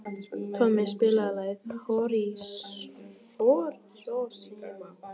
Tommi, spilaðu lagið „Hiroshima“.